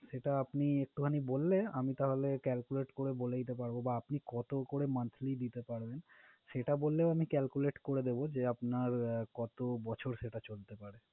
সেটা আপনি একটুখানি বললে, আমি তাহলে calculate করে বলে দিতে পারবো বা আপনি কতো করে monthly দিতে পারবেন, সেটা বললেও আমি calculate করে দেবো যে আপনার কতো বছর সেটা চলতে পারে।